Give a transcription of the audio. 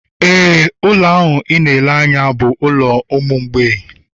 Éè, ụlọ a ị na-ele anya bụ ụlọ ụmụ mgbei